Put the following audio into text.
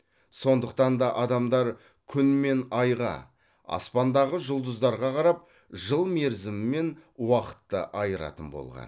сондықтан да адамдар күн мен айға аспандағы жұлдыздарға қарап жыл мерзімі мен уақытты айыратын болған